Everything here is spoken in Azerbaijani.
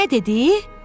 O nə dedi?